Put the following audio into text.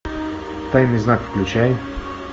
тайный знак включай